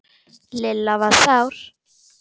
Lilla var sár.